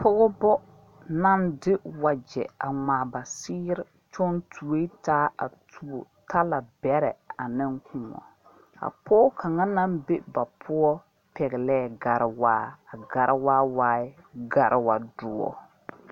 Pɔgba nang de wɔje a ngmaa ba seeri tu ɛ taa a tuo tala berɛ ane kou a poɔ kanga nang be ba pou pɛgle gariwaa a gariwaa waa la gariwa dɔo